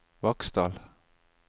Vaksdal